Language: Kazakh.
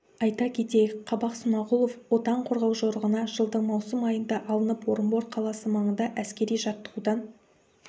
айта кетейік қабақ смағұлов отан қорғау жорығына жылдың маусым айында алынып орынбор қаласы маңында әскери жаттығудан